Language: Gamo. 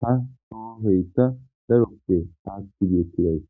ha xafoyka daroppe aki betizaysa.